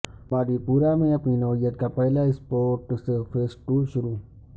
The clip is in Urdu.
باندی پورا میں اپنی نوعیت کا پہلا بڑا اسپورٹس فیسٹول شروع